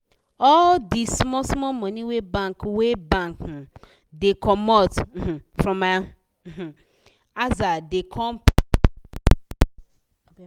all d small small money wey bank wey bank um da comot um from my um aza da come plenty